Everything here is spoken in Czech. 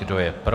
Kdo je pro?